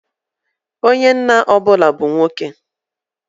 Onye nna ọ bụla bu nwoke.